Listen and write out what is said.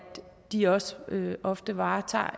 de også ofte varetager